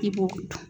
I b'o dɔn